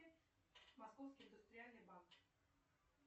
московский индустриальный банк